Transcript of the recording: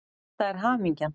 Þetta er hamingjan.